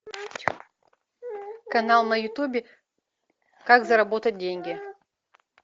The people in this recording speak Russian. канал на ютубе как заработать деньги